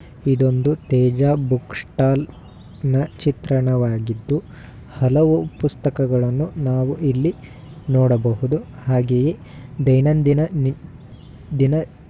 ಇದೊಂದು Teja book stall ನ ಚಿತ್ರಣವಾಗಿದ್ದು ಹಲವು ಪುಸ್ತಕಗಳನ್ನು ನಾವು ಇಲ್ಲಿ ನೋಡಬಹುದು. ಹಾಗೆಯೇ ದೈನಂದಿನ ನಿ ದಿನ--